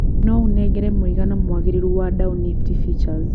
no ũnengere mũigana mwagirirũ wa dow nifty futures